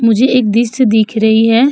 मुझे एक दिश्य दिख रही है।